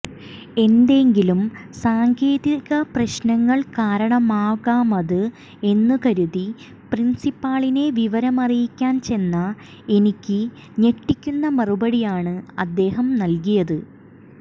എന്തെങ്കിലും സാങ്കേതിക പ്രശ്നങ്ങൾ കാരണമാകാമത് എന്നുകരുതി പ്രിൻസിപ്പാളിനെ വിവരമറിയിക്കാൻ ചെന്ന എനിക്ക് ഞെട്ടിക്കുന്ന മറുപടിയാണ് അദ്ദേഹം നൽകിയത്